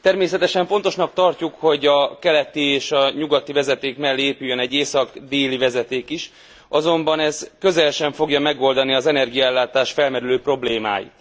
Természetesen fontosnak tartjuk, hogy a keleti és a nyugati vezeték mellé épüljön egy észak déli vezeték is, azonban ez közel sem fogja megoldani az energiaellátás felmerülő problémáit.